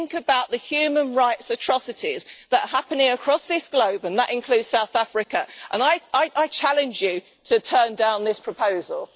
Think about the human rights atrocities that are happening across the globe and that includes South Africa and I challenge you to turn down this proposal!